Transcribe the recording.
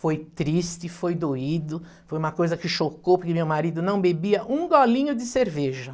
Foi triste, foi doído, foi uma coisa que chocou porque meu marido não bebia um golinho de cerveja.